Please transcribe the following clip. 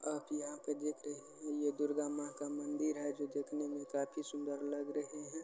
आप यह देख रहे हैं जो दुर्गा माता की मंदिर है जो देखने में काफी सुंदर लग रही है